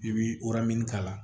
I bi k'a la